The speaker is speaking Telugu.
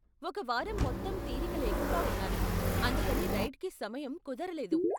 ఒక వారం మొత్తం తీరిక లేకుండా ఉన్నాను, అందుకని రైడ్కి సమయం కుదరలేదు.